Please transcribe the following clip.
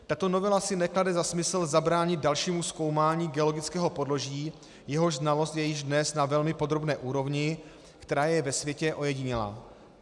Tato novela si neklade za smysl zabránit dalšímu zkoumání geologického podloží, jehož znalost je již dnes na velmi podrobné úrovni, která je ve světě ojedinělá.